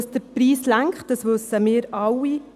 Dass der Preis lenkt, wissen wir alle.